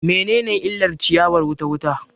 Me ne ne illar ciyawar wuta wuta